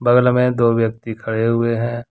गल में दो व्यक्ति खड़े हुए हैं।